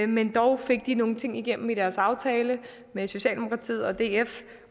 men dog fik de nogle ting igennem i deres aftale med socialdemokratiet df